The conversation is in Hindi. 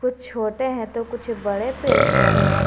कुछ छोटे हैं तो कुछ बड़े पेड़ पौधे हैं।